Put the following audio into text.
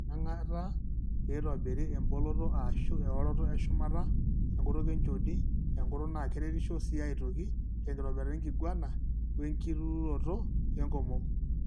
Iyieng'ata peitobiri emboloto ashu eoroto eshumata enkutuk enchoni enkutuk naa keretisho sii aitoki tenkitobirata enkiguana oenkitururoto enkomom.